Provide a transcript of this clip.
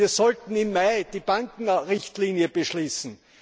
Wir sollten im Mai die Bankenrichtlinie beschließen.